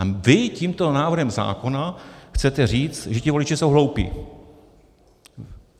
A vy tímto návrhem zákona chcete říct, že ti voliči jsou hloupí.